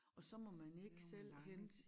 Og så må man ikke selv hente